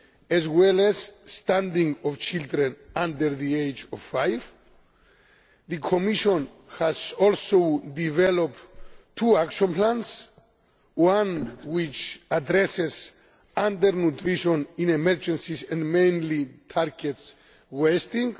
as well as stunting of children under the age of five. The Commission has also developed two action plans one which addresses undernutrition in emergencies and mainly targets wasting.